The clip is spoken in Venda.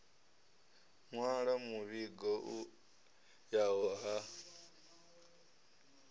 nwala muvhigo u yaho ha